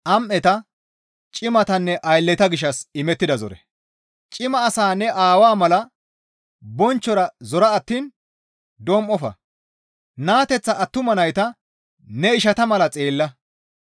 Cima asaa ne Aawaa mala bonchchora zora attiin dom7ofa; naateththa attuma nayta ne ishata mala xeella.